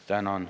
Tänan!